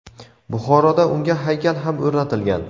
Buxoroda unga haykal ham o‘rnatilgan.